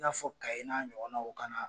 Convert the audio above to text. I n'a fɔ kaye n'a ɲɔgɔn naw kana